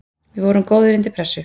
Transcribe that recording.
Við vorum góðir undir pressu.